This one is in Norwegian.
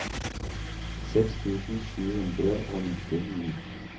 seks tusen sju hundre og nittini